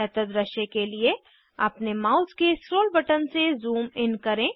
बेहतर दृश्य के लिए अपने माउस के स्क्रोल बटन से ज़ूम इन करें